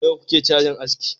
nawa kuke cajin aski